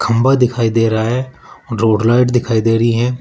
खंभा दिखाई दे रहा है रोड लाइट दिखाई दे रही हैं।